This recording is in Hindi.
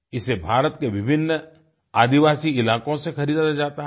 इसे भारत के विभिन्न आदिवासी इलाकों से खरीदा जाता है